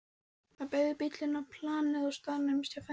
Það beygði bíll inn á planið og staðnæmdist hjá fæðingardeildinni.